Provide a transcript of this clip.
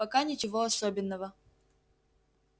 пока ничего особенного